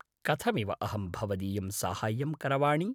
कथमिव अहं भवदीयं साहाय्यं करवाणि?